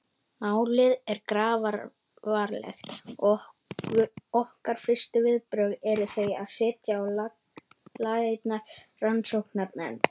Málið er grafalvarlegt og okkar fyrstu viðbrögð eru þau að setja á laggirnar rannsóknarnefnd.